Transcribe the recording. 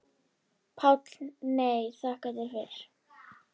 PÁLL: Nei, þakka þér fyrir.